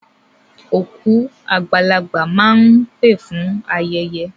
Òkú àgbàlagbà máa ń pé fún ayẹyẹ.